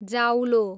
जाउलो